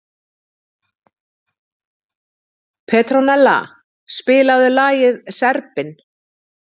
Petronella, spilaðu lagið „Serbinn“.